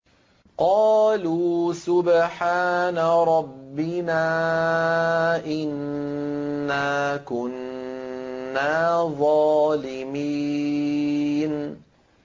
قَالُوا سُبْحَانَ رَبِّنَا إِنَّا كُنَّا ظَالِمِينَ